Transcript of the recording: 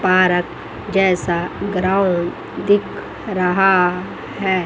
Park जैसा ground दिख रहा है।